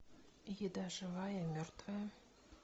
еда живая и мертвая